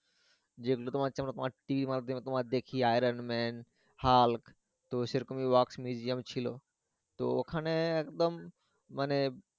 যেগুলো তোমার হচ্ছে TV তে মাঝে মধ্যে দেখি আয়রন ম্যান হাল্ক তো সেরকমই wax museum ছিলো তো ওখানে একদম মানে